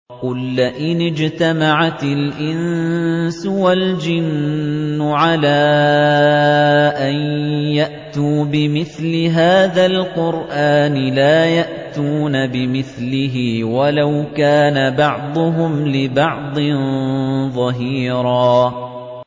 قُل لَّئِنِ اجْتَمَعَتِ الْإِنسُ وَالْجِنُّ عَلَىٰ أَن يَأْتُوا بِمِثْلِ هَٰذَا الْقُرْآنِ لَا يَأْتُونَ بِمِثْلِهِ وَلَوْ كَانَ بَعْضُهُمْ لِبَعْضٍ ظَهِيرًا